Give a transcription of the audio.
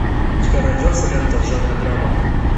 у тебя найдется лента в жанре драма